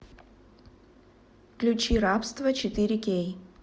включи рабство четыре кей